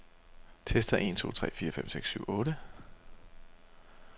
Tester en to tre fire fem seks syv otte.